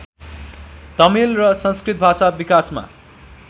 तमिल र संस्कृत भाषा विकासमा